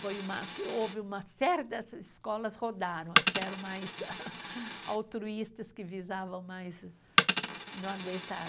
Foi uma que. Houve uma série dessas escolas rodaram, as que eram mais altruístas, que visavam mais... Não aguentaram.